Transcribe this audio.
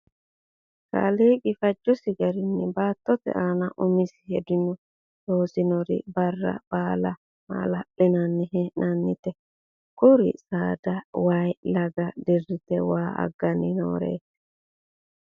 Kaliiqi fajjossi garinni baattote aanna umisi hedonni loosinori Barra baalla mala'linanni hee'nanireetti . Kuri saada wayi Laga diritte waa aganni nooreetti.